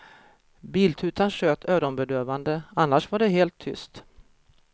Biltutan tjöt öronbedövande, annars var det helt tyst.